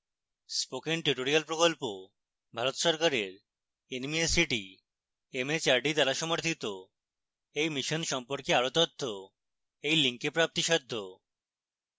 spoken tutorial প্রকল্প ভারত সরকারের nmeict mhrd দ্বারা সমর্থিত এই mission সম্পর্কে আরো তথ্য এই link প্রাপ্তিসাধ্য